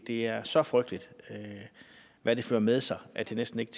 det er så frygteligt hvad det fører med sig at det næsten ikke